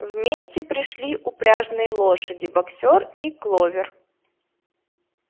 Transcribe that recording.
вместе пришли упряжные лошади боксёр и кловер